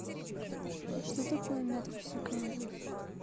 что такое метр в секунду